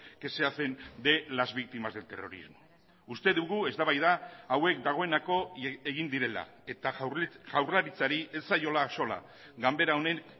que se hacen de las víctimas del terrorismo uste dugu eztabaida hauek dagoeneko egin direla eta jaurlaritzari ez zaiola axola ganbera honek